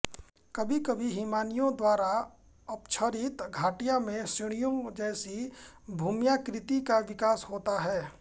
कभी कभी हिमानियों द्वारा अपक्षरित घाटियों में सीढियों जैसी भूम्याकृति का विकास होता है